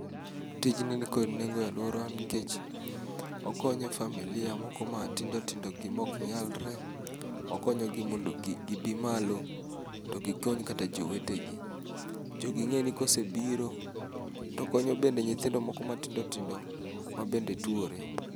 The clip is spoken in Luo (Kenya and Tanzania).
Tijni nikod nengo e aluorawa nikech okonyo familia moko matindo tindogi maok nyalre. Okonyogi mondo gibi malo to gikony kata jowetegi. Jogi ing'e ni ka osebiro to konyo nyaka nyithindo moko matindo tindo ma bende tuore.